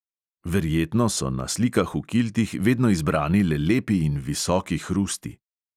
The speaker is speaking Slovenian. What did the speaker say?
Verjetno so na slikah v kiltih vedno izbrani le lepi in visoki hrusti.